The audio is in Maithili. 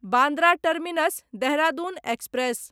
Bandra terminus Dehradun express